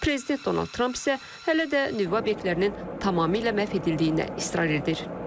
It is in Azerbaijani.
Prezident Donald Tramp isə hələ də nüvə obyektlərinin tamamilə məhv edildiyinə israr edir.